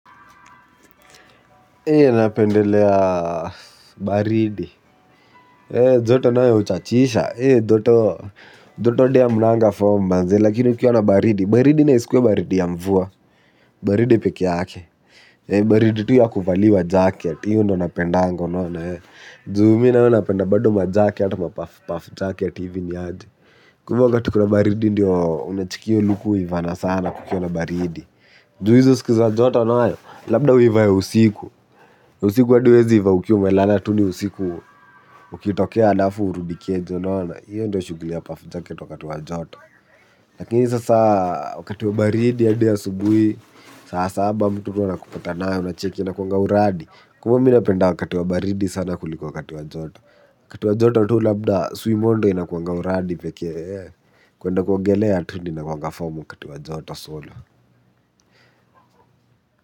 Napendelea baridi. Joto nayo uchachisha. Doto adi hamnanga fom manze. Lakini ukiwa na baridi baridi na isikuwe baridi ya mvua. Baridi pekeake. Baridi tu ya kuvaliwa jacket. Hio ndo napendaga unaona. Juu mi nayo napenda bado majacket. Ma puff jacket ivi niaje. Kwa ivo wakati kuna baridi ndio unacheki hio luku uivana sana kukiwa na baridi. Juu hizo siku za joto nayo. Labda uivaye usiku. Usiku adi uwezi ivaa ukiwa umelala tu ni usiku ukitokea alafu urudi keja unaona. Iyo ndo shuguli ya puff jacket wakati wa joto. Lakini sasa wakati wa baridi adi asubui, saa saba mtu tu anakupata nayo unacheki inakuanga uradi. Kwa hio mi napenda wakati wa baridi sana kuliko wakati wa joto. Wakati wa joto tu labda swimo ndio inakuanga uradi pekee. Kuenda kuogelea tu ni inakuwanga fom wakati wa joto solo.